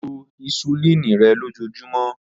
Lo hisulini rẹ lojoojumọ.